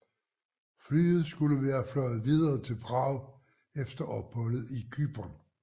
Flyet skulle været fløjet videre til Prag efter opholdet i Cypern